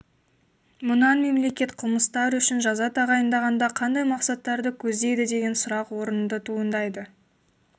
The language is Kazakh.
мұнан мемлекет қылмыс тар үшін жаза тағайындағанда қандай мақсаттарды көздейді деген сұрақ орынды туындайды